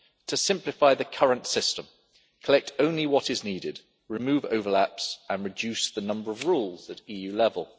to simplify the current system collect only what is needed, remove overlaps and reduce the number of rules at EU level.